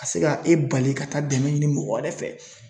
Ka se ka e bali ka taa dɛmɛ ɲini mɔgɔ wɛrɛ fɛ